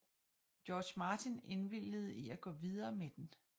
George Martin indvilgede i at gå videre med den